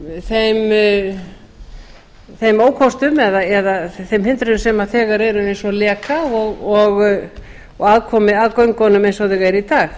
á þeim ókostum eða þeim hindrunum sem þegar eru eins og leka og aðkomu að göngunum eins og þau eru í dag